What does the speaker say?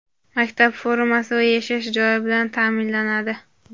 maktab formasi va yashash joyi bilan ta’minlanadi.